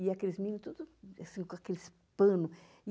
E aqueles meninos tudo, assim, com aqueles pano.